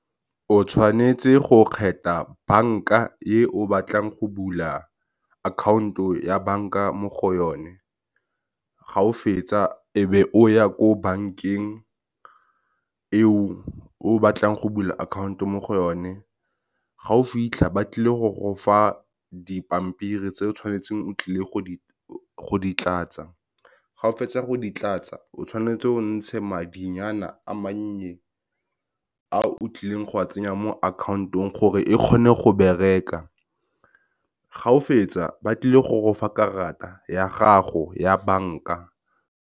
O tshwanetse go kgetha bank-a e o batlang go bula akhaonto ya bank-a mo go yone, ga o fetsa e be o ya ko bank-eng e o e batlang go bula akhaonto mo go yone. Ga o fitlha ba tlile go go fa dipampiri tse o tshwanetseng o tlile go ditlatsa, ga o fetsa go ditlatsa o tshwanetse ontshe madinyana a mannye a o tlileng go a tsenya mo akhaontong, gore e kgone go bereka ga o fetsa ba tlile go gofa karata ya gago ya bank-a.